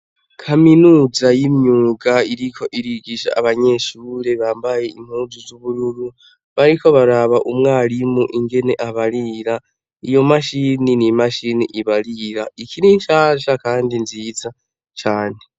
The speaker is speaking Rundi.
kaminuza y'imyuga iriko irigisha abanyeshure bambaye impunzu z'ubururu bariko baraba umwarimu ingene abarira iyo mashini n'imashini ibarira ikiri nshasha kandi nziza cane